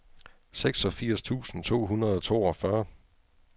seksogfirs tusind to hundrede og toogfyrre